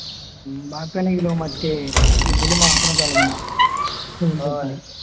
ബാക്കി അല്ലെങ്കിലോ മറ്റേ ഇതില് മാത്രം തിളങ്ങുക world cup ല്